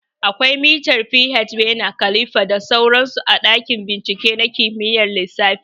Akwai mitan pH, bener kalifa da sauran su a ɗakin bincike na kimiyyar lissafi